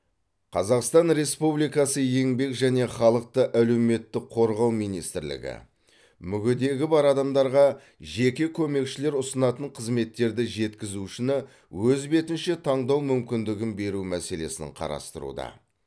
қазақстан республикасы еңбек және халықты әлеуметтік қорғау министрлігі мүгедектігі бар адамдарға жеке көмекшілер ұсынатын қызметтерді жеткізушіні өз бетінше таңдау мүмкіндігін беру мәселесін қарастыруда